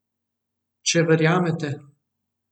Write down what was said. Če verjamete!